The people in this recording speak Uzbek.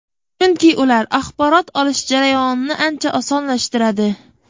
Chunki ular axborot olish jarayonini ancha osonlashtiradi.